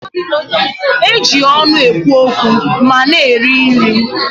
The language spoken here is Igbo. E ji ọnụ ekwu okwu ma na-eri nri